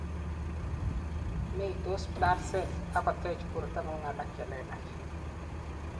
meitos blood cells ak kotech bortangung alak chelelach